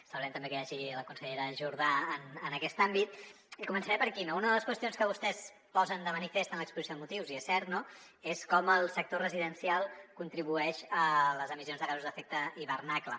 celebrem també que hi hagi la consellera jordà en aquest àmbit i començaré per aquí no una de les qüestions que vostès posen de manifest en l’exposició de motius i és cert no és com el sector residencial contribueix a les emissions de gasos d’efecte hivernacle